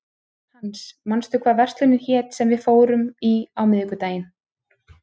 Hans, manstu hvað verslunin hét sem við fórum í á miðvikudaginn?